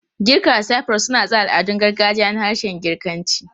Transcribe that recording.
Girka da Cyprus suna tsara al'adun gargajiya na harshen Girkanci.